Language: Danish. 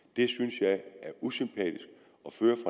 at er usympatisk